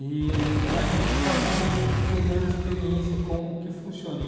E a gente acabou pegando experiência, como que funciona.